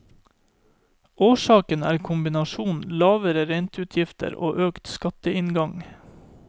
Årsaken er kombinasjonen lavere renteutgifter og økt skatteinngang.